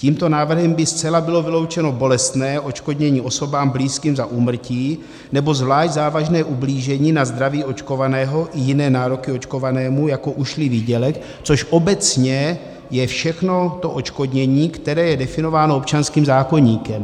Tímto návrhem by zcela bylo vyloučeno bolestné, odškodnění osobám blízkým za úmrtí nebo zvlášť závažné ublížení na zdraví očkovaného i jiné nároky očkovanému, jako ušlý výdělek, což obecně je všechno to odškodnění, které je definováno občanským zákoníkem.